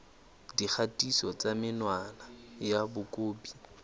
dikgatiso tsa menwana ya mokopi